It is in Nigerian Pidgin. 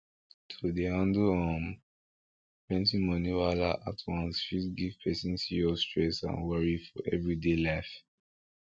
to dey handle um plenti money wahala at once fit give person serious stress and worry for everyday life